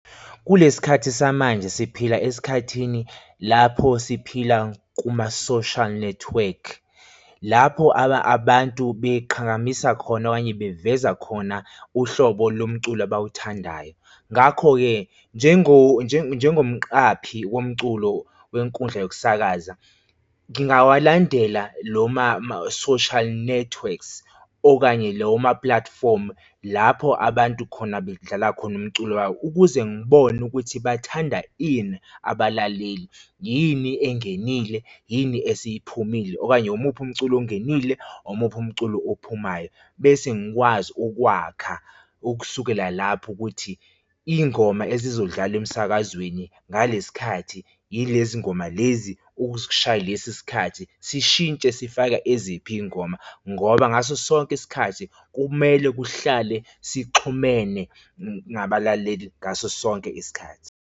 Kulesi khathi samanje siphila esikhathini lapho siphila kuma-social network. Lapho abantu beqhakambisa khona okanye beveza khona uhlobo lomculo abawuthandayo. Ngakho-ke njengomqaphi womculo wenkundla yokusakaza, ngingawalandela lo ma-social networks okanye lawo ma-platform lapho abantu khona bedlala khona umculo wabo ukuze ngibone ukuthi bathanda ini abalaleli? Yini engenile? Yini esiyiphumile? Okanye umuphi umculo ongenile? Omuphi umculo ophumayo? Bese ngikwazi ukwakha ukusukela lapho ukuthi iy'ngoma ezizodlala emsakazweni ngale sikhathi, yilezi ngoma lezi ukushaya lesi sikhathi sishintshe sifake eziphi iy'ngoma ngoba ngaso sonke isikhathi kumele kuhlale sixhumene nabalaleli ngaso sonke isikhathi.